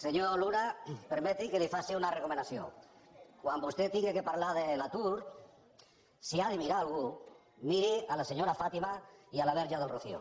senyor luna permeti que li faci una recomanació quan vostè hagi de parlar de l’atur si ha de mirar a algú miri la senyora fàtima i la verge del rocío